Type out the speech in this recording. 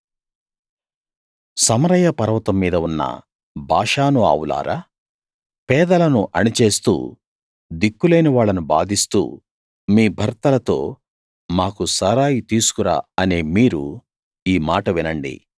సమరయ పర్వతం మీద ఉన్న బాషాను ఆవులారా పేదలను అణిచేస్తూ దిక్కులేని వాళ్ళని బాధిస్తూ మీ భర్తలతో మాకు సారాయి తీసుకు రా అనే మీరు ఈ మాట వినండి